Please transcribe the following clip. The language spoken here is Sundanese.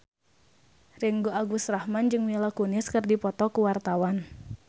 Ringgo Agus Rahman jeung Mila Kunis keur dipoto ku wartawan